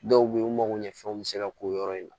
Dɔw bɛ yen u mago ɲɛ fɛnw bɛ se ka k'o yɔrɔ in na